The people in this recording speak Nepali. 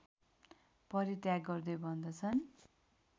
परित्याग गर्दै भन्दछन्